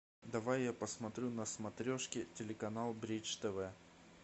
давай я посмотрю на смотрешке телеканал бридж тв